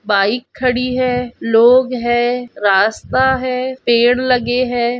Bike खड़ी है लोग है रास्ता है पेड़ लगे है।